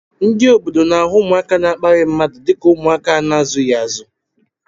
Ndị obodo n'ahụ ụmụaka na-akparị mmadụ dịka ụmụaka a na-azughị azu